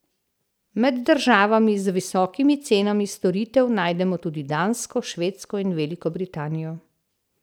Med državami z visokimi cenami storitev najdemo tudi Dansko, Švedsko in Veliko Britanijo.